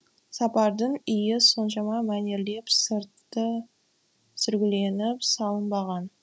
сапардың үйі соншама мәнерлеп сырты сүргіленіп салынбаған